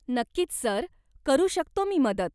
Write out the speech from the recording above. नक्कीच, सर, करू शकतो मी मदत.